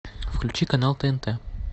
включи канал тнт